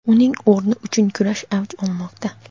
uning o‘rni uchun kurash avj olmoqda.